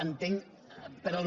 entenc per al·